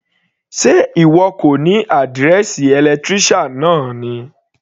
Sé ìwọ kò ní àdírẹ́ẹ̀sì electrician náà ni.